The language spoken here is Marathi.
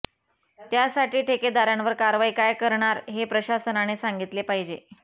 त्यासाठी ठेकेदारांवर कारवाई काय करणार हे प्रशासनाने सांगितले पाहिजे